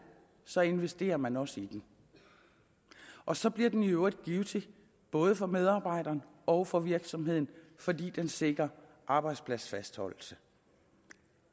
så investerer man også i den og så bliver den i øvrigt givtig både for medarbejderen og for virksomheden fordi den sikrer arbejdspladsfastholdelse